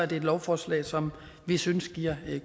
det et lovforslag som vi synes giver